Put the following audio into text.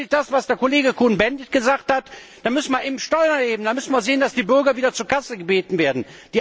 Oder gilt das, was Kollege Cohn Bendit gesagt hat Dann müssen wir eben Steuern erheben, dann müssen wir sehen, dass die Bürger wieder zur Kasse gebeten werden.